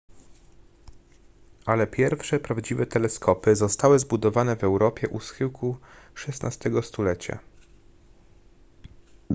ale pierwsze prawdziwe teleskopy zostały zbudowane w europie u schyłku xvi stulecia